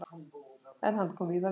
En hann kom víða við.